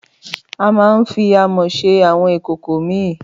Àmà ń fí àmó sẹ àwón ìkókò mi.